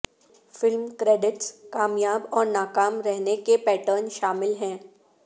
film credits کامیاب اور ناکام رہنے کے پیٹرن شامل ہیں